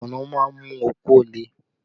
Kùnnú má ń mú okó le